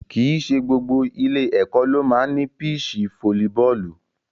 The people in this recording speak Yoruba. Kì í ṣe gbogbo ilé-ẹ̀kọ́ ló máa ń ní píìṣì fóólíbọọ̀lù.